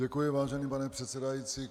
Děkuji, vážený pane předsedající.